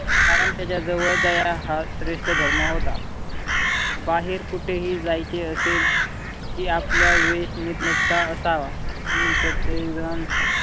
कारण त्याच्या जवळ दया हा श्रेष्ठ धर्म होता. बाहेर कुठेही जायचे असेल कि आपला वेष नीट नेटका असावा. म्हणून प्रत्येक जण